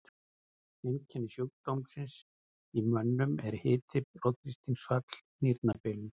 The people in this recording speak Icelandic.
Einkenni sjúkdómsins í mönnum eru hiti, blóðþrýstingsfall, nýrnabilun.